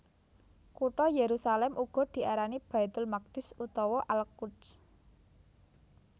Kutha Yerusalem uga diarani Baitul Maqdis utawa Al Quds